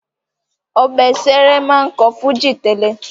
Òbésèré máa ń kọ́ fújì tẹ́lẹ̀